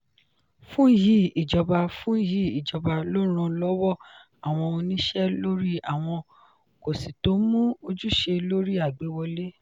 fun yi ijoba fun yi ijoba lọ ran lọwọ awọn oniṣẹ lori awọn kọsitọmu ojuse lori agbewọle.